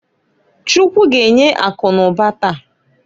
Chukwu g'enye akụ n'ụba taa.